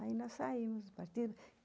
Aí nós saímos, partimos.